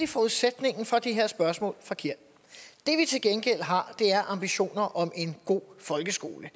forudsætningen for det her spørgsmål forkert det vi til gengæld har er ambitioner om en god folkeskole